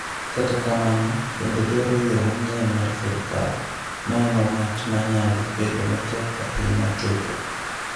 Kata kamano, bende dwaro yo manyien mar sirikal, ma en wach ma nyalo bedo matek ahinya chopo.